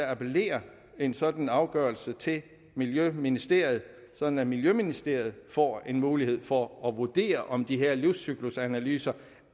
appellere en sådan afgørelse til miljøministeriet sådan at miljøministeriet får en mulighed for at vurdere om de her livscyklusanalyser